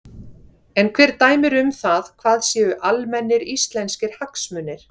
En hver dæmir um það hvað séu almennir íslenskir hagsmunir?